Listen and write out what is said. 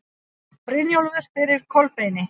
Brynjólfur fyrir Kolbeini.